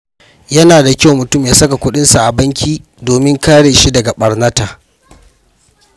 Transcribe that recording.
Yana da kyau mutum ya saka kuɗinsa a banki domin kare shi daga ɓarnata.